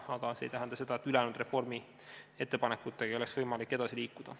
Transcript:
See aga ei tähenda seda, et ülejäänud reformiettepanekutega ei oleks võimalik edasi liikuda.